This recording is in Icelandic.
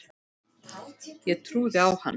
Ég trúði á hann.